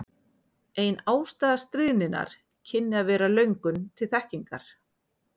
Ein ástæða stríðninnar kynni að vera löngun til þekkingar.